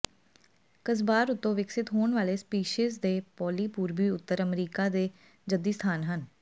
ਕਸਬਾਰ ਉੱਤੋਂ ਵਿਕਸਤ ਹੋਣ ਵਾਲੇ ਸਪੀਸੀਜ਼ਾਂ ਦੇ ਪੌਲੀ ਪੂਰਬੀ ਉੱਤਰੀ ਅਮਰੀਕਾ ਦੇ ਜੱਦੀ ਸਥਾਨ ਹਨ